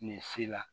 Nin si la